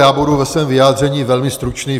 Já budu ve svém vyjádření velmi stručný.